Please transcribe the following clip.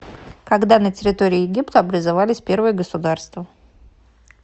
когда на территории египта образовались первые государства